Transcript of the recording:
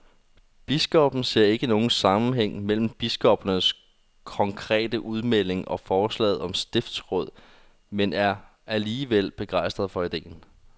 Biskoppen ser ikke nogen sammenhæng mellem biskoppernes konkrete udmelding og forslaget om stiftsråd, men er alligevel begejstret for ideen.